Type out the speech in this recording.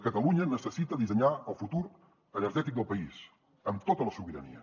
catalunya necessita dissenyar el futur energètic del país amb tota la sobirania